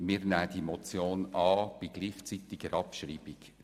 Wir nehmen die Motion bei gleichzeitiger Abschreibung an.